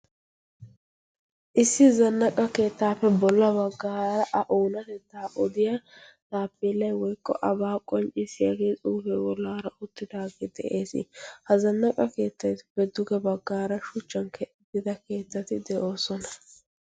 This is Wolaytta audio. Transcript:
issi zannaqa keettaappe bolla baggaara a oonatettaa odiya taappiellai woikqo abaa qoncciisiyaagee xuufee wolaara uttidaagee de'ees. ha zannaqa keettati pedduge baggaara shuchchan keddida keettati de'oosona.